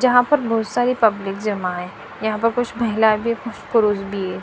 जहां पर बहुत सारी पब्लिक जमा है यहां पर कुछ महिला भी कुछ पुरुष भी है।